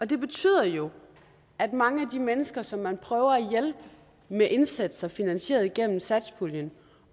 det betyder jo at mange af de mennesker som man prøver at hjælpe med indsatser finansieret igennem satspuljen